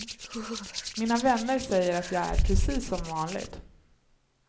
Mina vänner säger att jag är precis som vanligt.